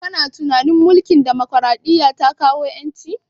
Kana tunanin mulkin demokaraɗiya ta kawo ƴanci?